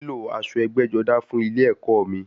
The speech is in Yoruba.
Màá nílò aṣọ ẹgbẹ́-jọdá fún ilẹ ẹ̀kọ́ mi.